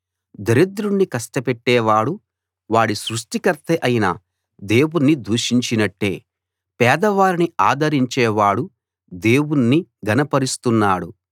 దరిద్రుణ్ణి కష్టపెట్టేవాడు వాడి సృష్టికర్త అయిన దేవుణ్ణి దూషించినట్టే పేదవారిని ఆదరించేవాడు దేవుణ్ణి ఘనపరుస్తున్నాడు